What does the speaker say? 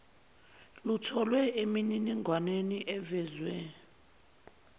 lutholwe emininingwaneni evezwe